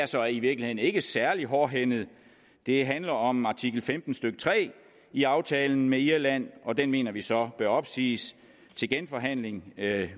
så i virkeligheden ikke særlig hårdhændet det handler om artikel femten stykke tre i aftalen med irland og den mener vi så bør opsiges til genforhandling